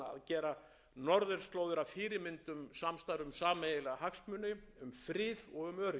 gera norðurslóðir að fyrirmynd um samstarf um sameiginlega hagsmuni um frið og